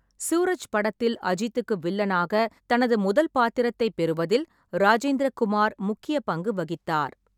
சூரஜ் படத்தில் அஜித்துக்கு வில்லனாக தனது முதல் பாத்திரத்தைப் பெறுவதில் ராஜேந்திர குமார் முக்கிய பங்கு வகித்தார்.